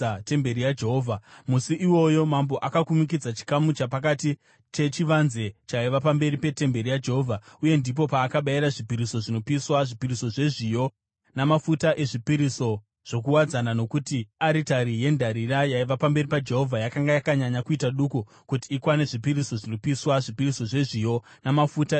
Musi iwoyo mambo akakumikidza chikamu chapakati chechivanze chaiva pamberi petemberi yaJehovha, uye ndipo paakabayira zvipiriso zvinopiswa, zvipiriso zvezviyo, namafuta ezvipiriso zvokuwadzana nokuti aritari yendarira yaiva pamberi paJehovha yakanga yakanyanya kuita duku kuti ikwane zvipiriso zvinopiswa, zvipiriso zvezviyo, namafuta ezvipiriso zvokuwadzana.